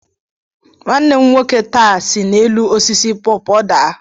Nwanne m nwoke nta si n'elu osisi pọpọ daa.